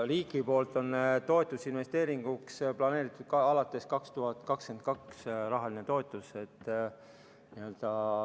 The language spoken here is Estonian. Riigi poolt on toetus investeeringuks planeeritud alates aastast 2022, rahaline toetus.